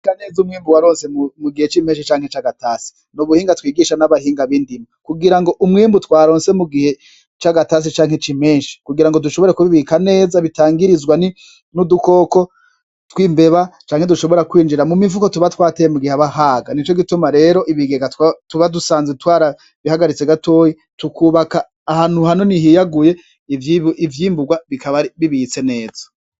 Bika neza umwimbu waronse mu gihe c'impeshi canke c'agatasi, n'ubuhinga twigishwa n'abahinga bindimo kugira ngo umwimbu twaronse mu gihe c'agatasi canke c'impeshi kugira ngo dushobore kubibika neza bitangirizwa n'udukoko tw'imbeba canke dushobora kwinjira mu mifuko tuba twateye mu gihe haba haga twarabihagaritse gatoyi tukubaka ahantu hanini hiyaguye ivyimburwa bikaba bibitse neza.